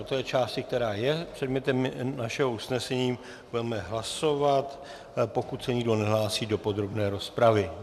O té části, která je předmětem našeho usnesení, budeme hlasovat, pokud se nikdo nehlásí do podrobné rozpravy.